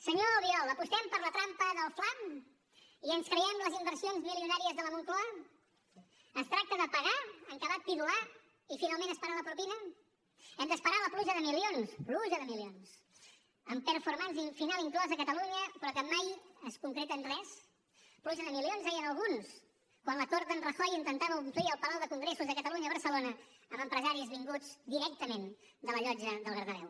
senyor albiol apostem per la trampa del fla i ens creiem les inversions milionàries de la moncloa es tracta de pagar en acabat pidolar i finalment esperar la propina hem d’esperar la pluja de milions pluja de milions amb performancefinal inclosa a catalunya però que mai es concreta en res pluja de milions deien alguns quan la cort d’en rajoy intentava omplir el palau de congressos de catalunya a barcelona amb empresaris vinguts directament de la llotja del bernabéu